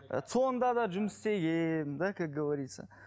ы цон да да жұмыс істегенмін да как говорится